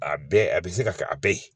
A bɛɛ a bɛ se ka kɛ a bɛɛ ye